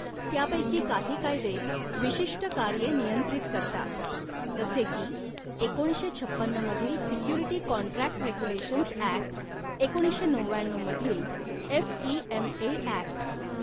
त्यापैकी काही कायदे विशिष्ट कार्ये नियंत्रित करतात जसे की एकोणीसशे छपन्न मधील सिक्युरिटी कॉन्ट्रॅक्ट रेग्युलेशन्स ऍक्ट एकोणीसशे नवव्याण्णऊ मधील एफइएमए ऍक्ट.